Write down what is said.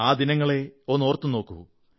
ആ ദിനങ്ങളെ ഒന്നോർത്തുനോക്കൂ